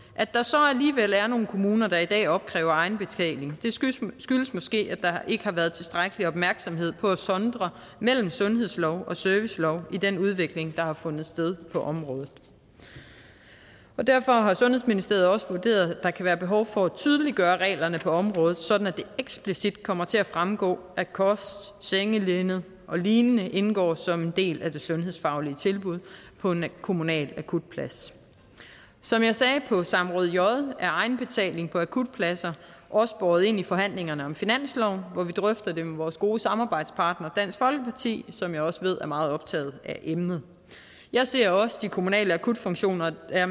at der så alligevel er nogle kommuner der i dag opkræver egenbetaling skyldes måske at der ikke har været tilstrækkelig opmærksomhed på at sondre mellem sundhedslov og servicelov i den udvikling der har fundet sted på området derfor har sundhedsministeriet også vurderet at der kan være behov for at tydeliggøre reglerne på området sådan at det eksplicit kommer til at fremgå at kost sengelinned olign indgår som en del af det sundhedsfaglige tilbud på en kommunal akutplads som jeg sagde på samråd j er egenbetaling på akutpladser også båret ind i forhandlingerne om finansloven hvor vi drøfter det med vores gode samarbejdspartner dansk folkeparti som jeg også ved er meget optaget af emnet jeg ser også at de kommunale akutfunktioner er